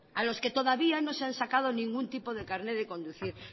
a los que todavía no se han sacado ningún tipo de carné de conducir